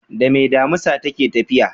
Dame damisa take tafiya?